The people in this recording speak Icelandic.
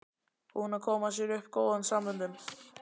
Búinn að koma sér upp góðum samböndum.